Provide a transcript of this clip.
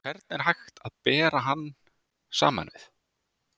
Hvern er hægt að bera hann saman við?